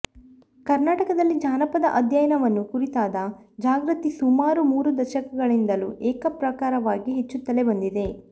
ಕರ್ನಾಟಕದಲ್ಲಿ ಜಾನಪದ ಅಧ್ಯಯನವನ್ನು ಕುರಿತಾದ ಜಾಗೃತಿ ಸುಮಾರು ಮೂರು ದಶಕಗಳಿಂದಲೂ ಏಕಪ್ರಕಾರವಾಗಿ ಹೆಚ್ಚುತ್ತಲೇ ಬಂದಿದೆ